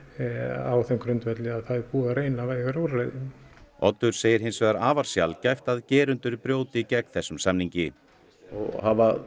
á þeim grundvelli að það er búið að reyna vægari úrræði Oddur segir hins vegar afar sjaldgæft að gerendur brjóti gegn þessum samningi hafa